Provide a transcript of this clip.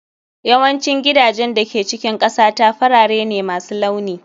Yawancin gidajen da ke cikin ƙasata farare ne masu launi